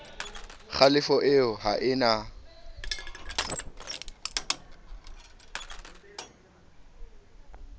kgalefo eo ha e na